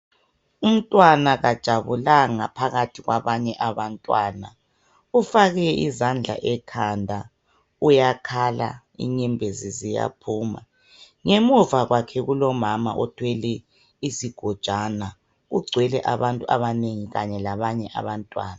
Umntwana kajabulanga phakathi kwabanye abantwana ufake izandla ekhanda uyakhala inyembezi ziyaphuma ngemuva kulomama othwele isigojana kugcwele abantu abanengi kanye labantwana